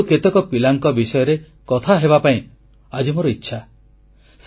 ତେଣୁ କେତେକ ପିଲାଙ୍କ ବିଷୟରେ କଥା ହେବାପାଇଁ ଆଜି ମୋର ଇଚ୍ଛା